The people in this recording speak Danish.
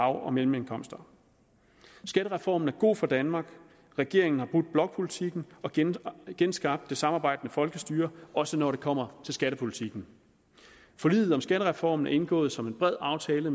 og mellemindkomster skattereformen er god for danmark regeringen har brudt blokpolitikken og genskabt genskabt det samarbejdende folkestyre også når det kommer til skattepolitikken forliget om skattereformen er indgået som en bred aftale